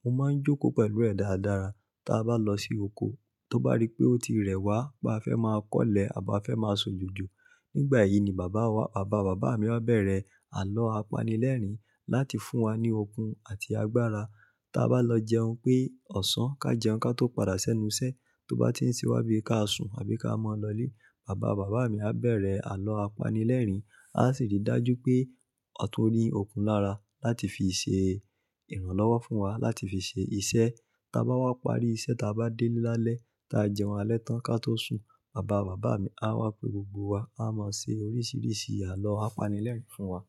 Mo máa ń jókòó pẹ̀lú ẹ̀ dáradára. Tí a bá lọ sí oko, tó bá rí pé ó ti rẹ̀ wá pé a fẹ́ máa kọ́lẹ̀ àbó fẹ́ máa ṣọ jòjò, nígbà yìí ni bàbá bàbá bàbá mi á bẹ̀rẹ̀ àlọ́ apanilẹ́rìn láti fún wa ní okun àti agbára. Ta bá lọ jẹun pé ọ̀sán, ká jẹun ká tó padà sẹ́nu iṣẹ́, tó bá ti ń sí wá bí ká sùn àbí ká máa lọ ilé, bàbá bàbá mi á bẹ̀rẹ̀ àlọ́ apanilẹ́rìn. A sì rí i dájú pé a tún ní okun lára láti fi ṣe ìrànlọ́wọ́ fún wa láti fi ṣe iṣẹ́. Ta bá wá parí iṣẹ́ ta bá dé lálẹ́, tí a jẹun alẹ́ tán ká tó sùn, bàbá bàbá mi á wá pé gbogbo wa a máa ṣe oríṣiríṣi àlọ́ apanilẹ́rìn fún wa.